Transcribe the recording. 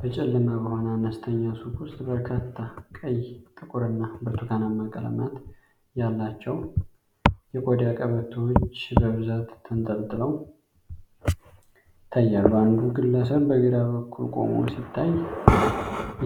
በጨለማ በሆነ አነስተኛ ሱቅ ውስጥ፣ በርካታ ቀይ፣ ጥቁር እና ብርቱካናማ ቀለማት ያላቸው የቆዳ ቀበቶዎች በብዛት ተንጠልጥለው ይታያሉ። አንዱ ግለሰብ በግራ በኩል ቆሞ ሲታይ፣